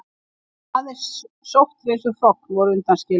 Aðeins sótthreinsuð hrogn voru undanskilin.